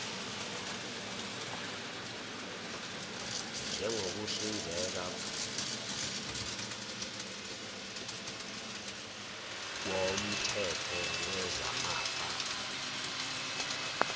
njengokuhlinzeka koomthetho wezamafa